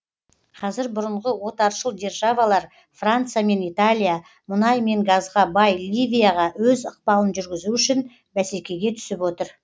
қазір бұрынғы отаршыл державалар франция мен италия мұнай мен газға бай ливияға өз ықпалын жүргізу үшін бәсекеге түсіп отыр